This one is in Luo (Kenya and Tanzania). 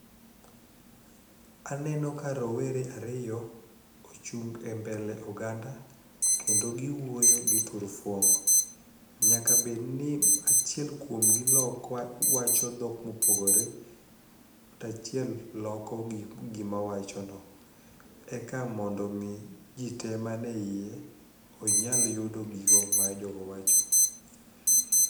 Aneno ka rowere ariyo ochung' e mbele oganda kendo giwuoyo gi turufong'. Nyaka bedni achiel kuomgi wacho dhok mopogore to achiel loko gima owachono eka mondo omi ji te mane iye onyal yudo gigo ma jogo wacho.